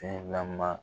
Fɛn lama